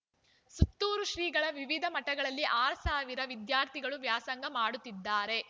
ಸುತ್ತೂರು ಶ್ರೀಗಳ ವಿವಿಧ ಮಠಗಳಲ್ಲಿ ಆರ್ ಸಾವಿರ ವಿದ್ಯಾರ್ಥಿಗಳು ವ್ಯಾಸಂಗ ಮಾಡುತ್ತಿದ್ದಾರೆ